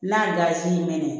N'a dazin mɛnna